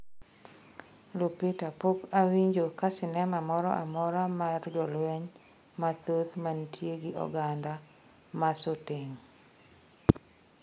Lupita: Poka awinjo ka sinema moro amora mar jolweny mathoth mantie gi oganda masoteng